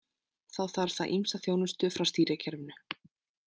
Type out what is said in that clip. Þá þarf það ýmsa þjónustu frá stýrikerfinu.